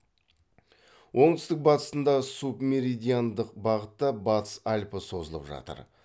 оңтүстік батысында субмеридиандық бағытта батыс альпі созылып жатыр